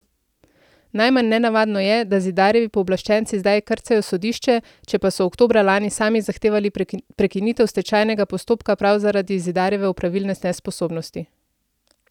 Najmanj nenavadno je, da Zidarjevi pooblaščenci zdaj krcajo sodišče, če pa so oktobra lani sami zahtevali prekinitev stečajnega postopka prav zaradi Zidarjeve opravilne nesposobnosti.